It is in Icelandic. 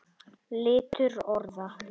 Litur orða